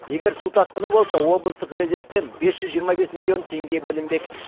егер су тасқыны болса облыстық резервтен бес жүз жиырма бес миллион теңге бөлінбек